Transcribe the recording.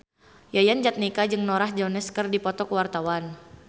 Yayan Jatnika jeung Norah Jones keur dipoto ku wartawan